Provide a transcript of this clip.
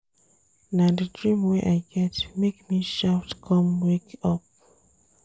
Na di dream wey I get make me shout com wake up.